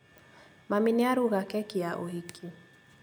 Mami nĩaruga keki ya ũhiki